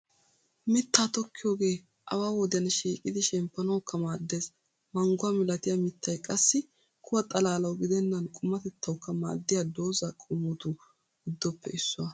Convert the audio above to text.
Mittaa tokkiyogee awa wodiyan shiiqidi shemppanawukka maaddees. Mangguwaa milatiya mitay qassi kuwa xalaalawu gidennan qumatettawukka maaddiya doza qommotu giddoppe issuwaa.